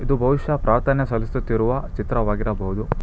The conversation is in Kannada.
ಇದು ಬಹುಶಃ ಪ್ರಾರ್ಥನೆ ಸಲ್ಲಿಸುತ್ತಿರುವ ಚಿತ್ರವಾಗಿರಬಹುದು.